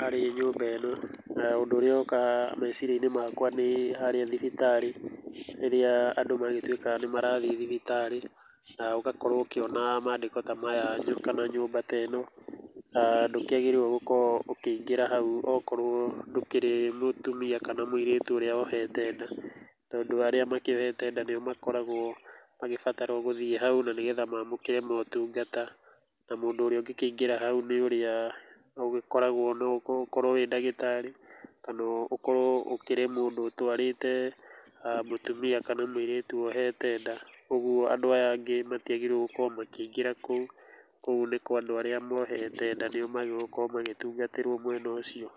harĩ nyũmba ĩno na ũndũ ũrĩa woka meciria-inĩ makwa nĩ harĩa thibitarĩ, rĩrĩa andũ magĩtuĩka nĩ marathiĩ thibitarĩ na ũgakorwo ũkĩona mandĩko ta maya kana nyũmba ta ĩno. Na ndũkĩagĩrĩirwo gũkĩingĩra hau okorwo ndũkĩrĩ mũtumia kana mũirĩtu ũrĩa wohete nda. Tondũ arĩa makiohete nda nĩo makoragwo magĩbatarwo gũthiĩ hau na nĩgetha maamũkĩre motungata. Na mũndũ ũrĩa ũngĩkĩingĩra hau nĩ ũrĩa ũgĩkoragwo no ũkorwo wĩ ndagĩtarĩ, ũkorwo ũkĩrĩ mũndu ũtwarĩte mũtumis kana mũitĩtu wohete nda. Ũguo andũ aya angĩ matiagĩrĩirwo gũkorwo makĩingĩra kũu, kũu nĩ kwa andũ arĩa mohete nda. Nĩo maagĩrĩirwo gũkorwo magĩtungatĩrwo mwena ũcio.